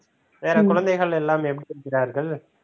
வேற குழந்தைகள் எல்லாம் எப்படி இருக்கிறார்கள்?